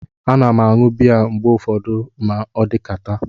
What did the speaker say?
A na m aṅu bịya mgbe ụfọdụ ma odikata